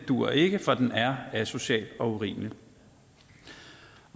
duer ikke for den er asocial og urimelig